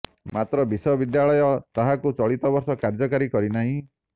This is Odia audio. ମାତ୍ର ବିଶ୍ବବିଦ୍ୟାଳୟ ତାହାକୁ ଚଳିତ ବର୍ଷ କାର୍ଯ୍ୟକାରୀ କରି ନାହିଁ